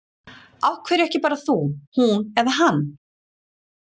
Af hverju ekki bara þú, hún eða hann?